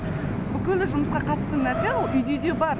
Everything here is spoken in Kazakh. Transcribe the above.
бүкілі жұмысқа қатысты нәрсе ол үйде де бар